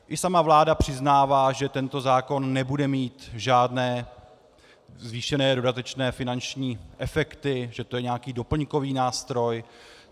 I sama vláda přiznává, že tento zákon nebude mít žádné zvýšené dodatečné finanční efekty, že to je nějaký doplňkový nástroj.